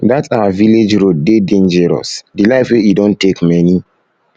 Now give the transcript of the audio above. dat our village road dey dangerous the life wey e don take many